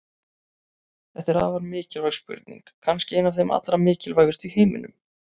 Þetta er afar mikilvæg spurning, kannski ein af þeim allra mikilvægustu í heiminum!